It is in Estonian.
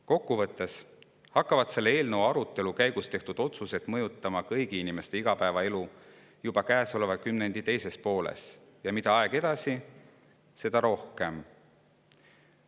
Kokkuvõttes hakkavad selle eelnõu arutelu käigus tehtud otsused mõjutama kõigi inimeste igapäevaelu juba käesoleva kümnendi teises pooles, ja mida aeg edasi, seda rohkem.